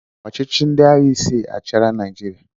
Ọchịchị ndị agha isii achịala Naịjirịa.